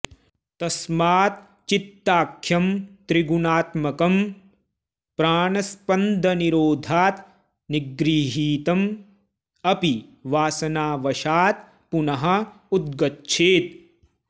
तस्मात् चित्ताख्यं त्रिगुणात्मकं प्राणस्पन्दनिरोधात् निगृहीतं अपि वासनावशात् पुनः उद्गच्छेत्